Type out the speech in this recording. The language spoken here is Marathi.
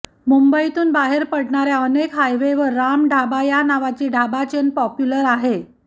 मुंबईतून बाहेर पडणाऱ्या अनेक हाय वेवर राम ढाबा या नावाची ढाबा चेन पॉप्युलर आहे